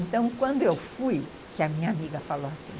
Então, quando eu fui, que a minha amiga falou assim...